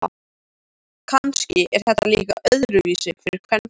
Kannski er þetta líka öðruvísi fyrir kvenfólk.